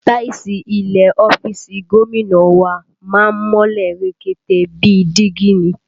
Táìsì ilẹ̀ ọ́fíìsì gómìnà wa má ń mọ́lẹ̀ rekete bíi dígí ni